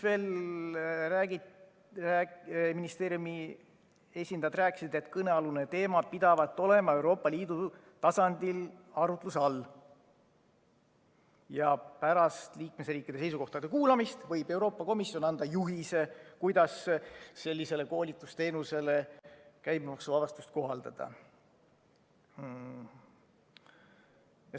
Ministeeriumi esindajad veel rääkisid, et kõnealune teema pidavat olema Euroopa Liidu tasandil arutluse all ja pärast liikmesriikide seisukohtade kuulamist võib Euroopa Komisjon anda juhise, kuidas sellisele koolitusteenusele käibemaksuvabastust kohaldada.